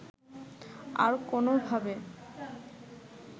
আর কোনও ভাবে